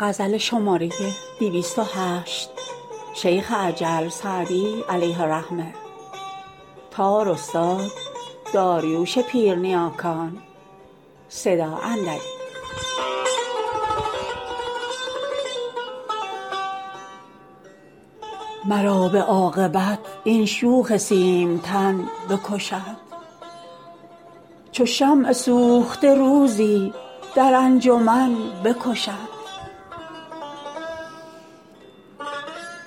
مرا به عاقبت این شوخ سیمتن بکشد چو شمع سوخته روزی در انجمن بکشد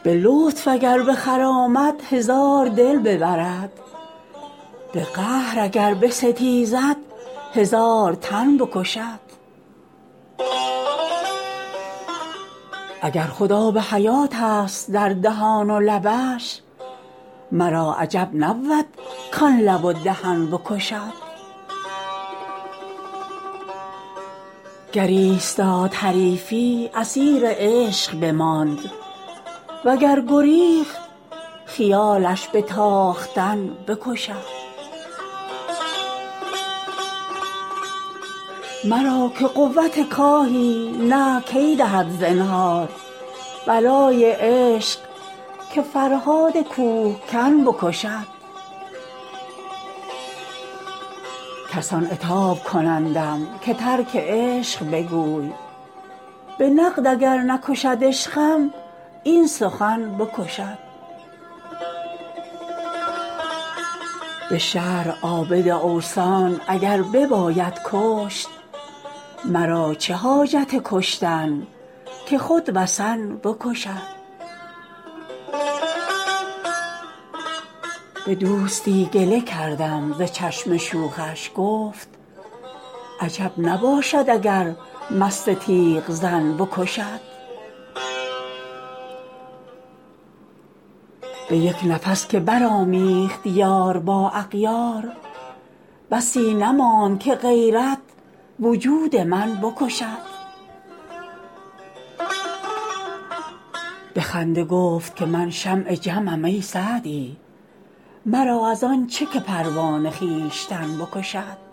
به لطف اگر بخرامد هزار دل ببرد به قهر اگر بستیزد هزار تن بکشد اگر خود آب حیاتست در دهان و لبش مرا عجب نبود کان لب و دهن بکشد گر ایستاد حریفی اسیر عشق بماند و گر گریخت خیالش به تاختن بکشد مرا که قوت کاهی نه کی دهد زنهار بلای عشق که فرهاد کوهکن بکشد کسان عتاب کنندم که ترک عشق بگوی به نقد اگر نکشد عشقم این سخن بکشد به شرع عابد اوثان اگر بباید کشت مرا چه حاجت کشتن که خود وثن بکشد به دوستی گله کردم ز چشم شوخش گفت عجب نباشد اگر مست تیغ زن بکشد به یک نفس که برآمیخت یار با اغیار بسی نماند که غیرت وجود من بکشد به خنده گفت که من شمع جمعم ای سعدی مرا از آن چه که پروانه خویشتن بکشد